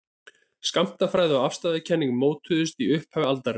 skammtafræði og afstæðiskenning mótuðust í upphafi aldarinnar